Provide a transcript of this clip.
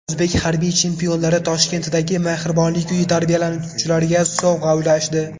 O‘zbek harbiy chempionlari Toshkentdagi mehribonlik uyi tarbiyalanuvchilariga sovg‘a ulashdi .